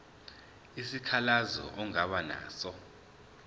isikhalazo ongaba naso